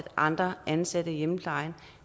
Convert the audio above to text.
andre ansatte i hjemmeplejen